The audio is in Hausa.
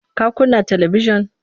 Ka kunna talibijin?